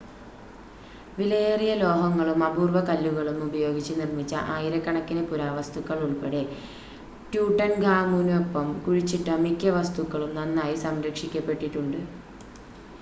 വിലയേറിയ ലോഹങ്ങളും അപൂർവ്വ കല്ലുകളും ഉപയോഗിച്ച് നിർമ്മിച്ച ആയിരക്കണക്കിന് പുരാവസ്തുക്കൾ ഉൾപ്പടെ ട്യൂട്ടൻഖാമുനൊപ്പം കുഴിച്ചിട്ട മിക്ക വസ്തുക്കളും നന്നായി സംരക്ഷിക്കപ്പെട്ടിട്ടുണ്ട്